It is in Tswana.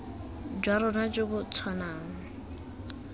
jwa rona jo bo tshwanang